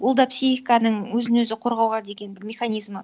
ол да психиканың өзін өзі қорғауға деген бір механизмі